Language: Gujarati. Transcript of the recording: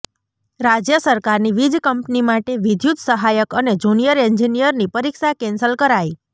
રાજ્ય સરકારની વીજ કંપની માટે વિદ્યુત સહાયક અને જુનિયર એન્જિનિયરની પરીક્ષા કેન્સલ કરાઈ